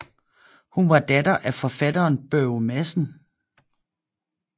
Hun var datter af forfatteren Børge Madsen